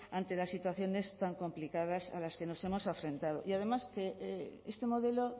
ante las situaciones tan complicadas a las que nos hemos enfrentado y además que este modelo